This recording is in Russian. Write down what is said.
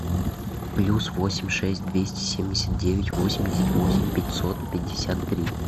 плюс восемь шесть двести семьдесят девять восемьдесят восемь пятьсот пятьдесят три